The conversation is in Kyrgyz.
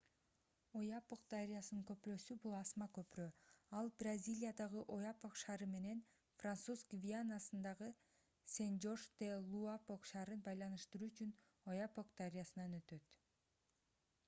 ояпок дарыясынын көпүрөсү бул асма көпүрө ал бразилиядагы ояпок шаары менен француз гвианасындагы сен-жорж-де-луапок шаарын байланыштыруу үчүн ояпок дарыясынан өтөт